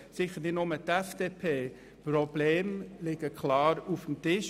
Die Probleme liegen klar auf dem Tisch.